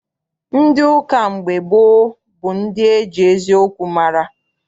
Ndị ụka mgbe gboo bụ ndị eji eziokwu mara.